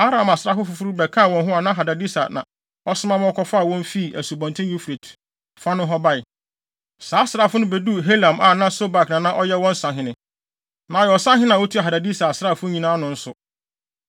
Aram asraafo foforo bi bɛkaa wɔn ho a Hadadeser na ɔsoma ma wɔkɔfaa wɔn fii Asubɔnten Eufrate fa nohɔ bae. Saa asraafo no beduu Helam a Sobak na na ɔyɛ wɔn ɔsahene, na ɔyɛ ɔsahene a otua Hadadeser asraafo nyinaa ano nso.